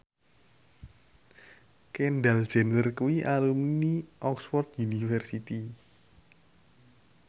Kendall Jenner kuwi alumni Oxford university